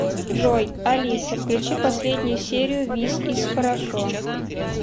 джой алиса включи последнюю серию вис из хорошо